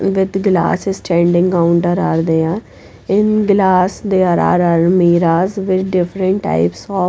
with glass standing counter are there in glass there are almiras with different types of --